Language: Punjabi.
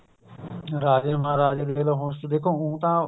ਰਾਜੇ ਮਹਾਰਾਜੇ ਜਦੋਂ ਸੀਗੇ ਦੇਖੋ ਊਂ ਤਾਂ